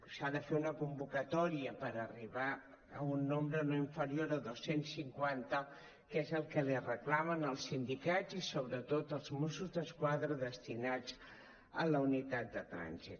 s’ha de fer una convocatòria per arribar a un nombre no inferior a dos cents cinquanta que és el que li reclamen els sindicats i sobretot els mossos d’esquadra destinats a la unitat de trànsit